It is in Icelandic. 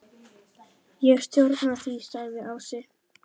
Ég stjórna því, sagði Ási.